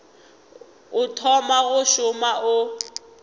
o thoma go šoma o